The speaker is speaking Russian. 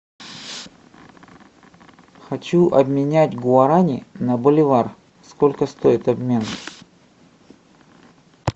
хочу обменять гуарани на боливар сколько стоит обмен